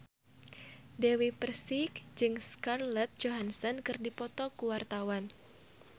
Dewi Persik jeung Scarlett Johansson keur dipoto ku wartawan